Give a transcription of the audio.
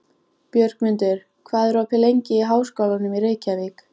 Björgmundur, hvað er opið lengi í Háskólanum í Reykjavík?